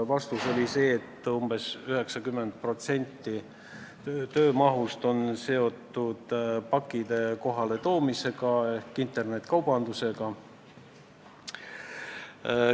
Vastus oli, et umbes 90% töömahust on seotud pakkide kohaletoomisega ehk internetikaubandusega.